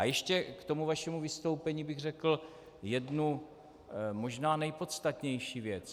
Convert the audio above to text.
A ještě k tomu vašemu vystoupení bych řekl jednu možná nejpodstatnější věc.